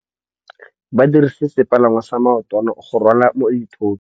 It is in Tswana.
Ba dirisitse sepalangwasa maotwana go rwala dithôtô.